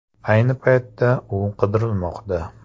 Ayni paytda u qidirilmoqda.